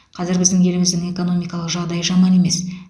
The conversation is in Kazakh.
қазір біздің еліміздің экономикалық жағдайы жаман емес